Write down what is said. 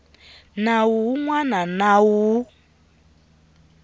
nawu wun wana na wun